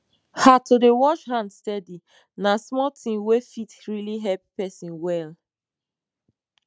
ha to dey wash hand steady na small thing wey fit really help person well